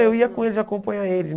eu ia com eles, acompanhar eles.